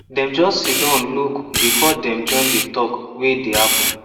dem just siddon look before dem join the talk wey dey happen